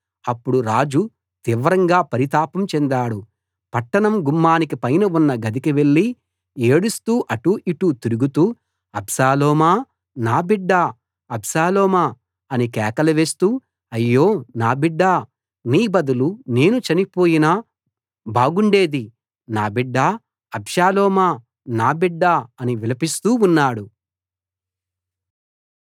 అప్పుడు రాజు తీవ్రంగా పరితాపం చెందాడు పట్టణం గుమ్మానికి పైన ఉన్న గదికి వెళ్లి ఏడుస్తూ అటూ ఇటూ తిరుగుతూ అబ్షాలోమా నా బిడ్డా అబ్షాలోమా అని కేకలు వేస్తూ అయ్యో నా బిడ్డా నీ బదులు నేను చనిపోయినా బాగుండేది నా బిడ్డా అబ్షాలోమా నా బిడ్డా అని విలపిస్తూ ఉన్నాడు